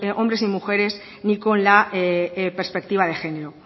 hombres y mujeres ni con la perspectiva de género